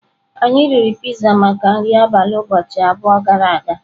Anyị riri pizza maka nri abalị ụbọchị abụọ gara aga.